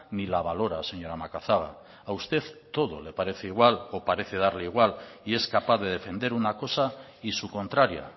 ni la valora señora macazaga a usted todo le parece igual o parece darle igual y es capaz de defender una cosa y su contraria